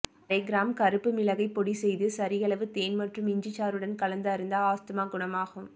அரை கிராம் கருப்பு மிளகை பொடி செய்து சரியளவு தேன் மற்றும் இஞ்சி சாறுடன் கலந்து அருந்த ஆஸ்துமா குணமாகும்